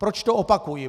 Proč to opakuji?